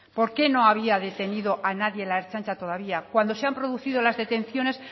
por qué no había detenido a nadie la ertzaintza todavía cuando se han producido las detenciones